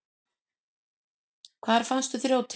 Hvar fannstu þrjótinn?